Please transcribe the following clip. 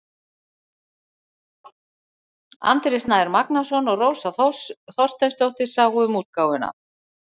Andri Snær Magnason og Rósa Þorsteinsdóttir sáu um útgáfuna.